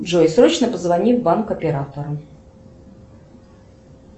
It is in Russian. джой срочно позвони в банк оператору